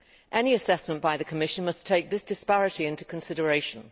Any assessment by the Commission must take this disparity into consideration.